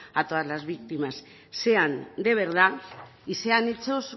a todas las víctimas sean de verdad y sean hechos